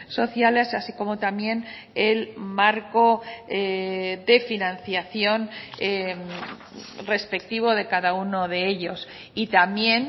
sociales así como también el marco de financiación respectivo de cada uno de ellos y también